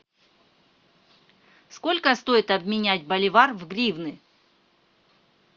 сколько стоит обменять боливар в гривны